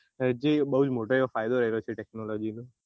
બઉ મોટો ફાયદો એવો ફાયદો રહેલો છે technology નો